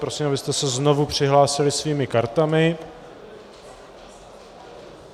Prosím, abyste se znovu přihlásili svými kartami.